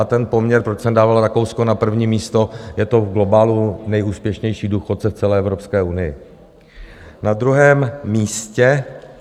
A ten poměr, proč jsem dával Rakousko na první místo, je to v globálu nejúspěšnější důchodce v celé Evropské unii.